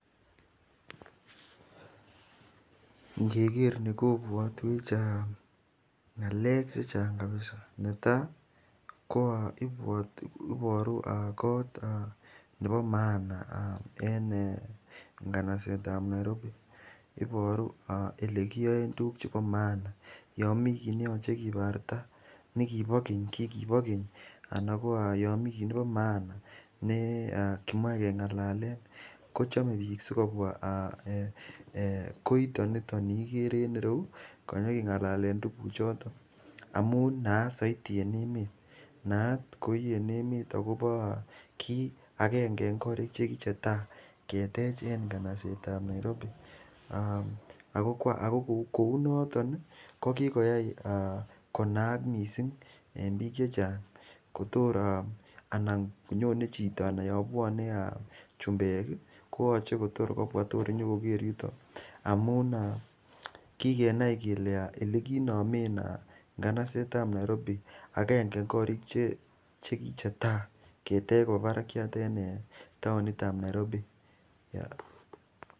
Ngeker ni kopwotwech ng'alek chechang kabisa netai ipwotwech iporu koot nepo maana en kanaset ap Nairobi iporu olekiyoen tukuk chepo maana yo mikiy niyochei koparta nekipo keny kiekipo keny anan ko yomi kiy nekipomaana nekimache kingalalen kochomei pik sikopwa koito ni ikere en ireu konyikingalale tukuchuton amun naat zaidi eng emet naat koi eng emet akopo kit akenge eng korik chekichetai ketech eng kanaset ap Nairobi ako kounoton ko kikoyai konaak mising eng piik chechang nyoni chito anan yo phone chumbek koyochei kopwa tukul anyokoker yuto amu kikenai kele olekiinomen nganaset ap Nairobi akenge eng korik chekichetai ketech kopa parakchat en taonit ap Nairobi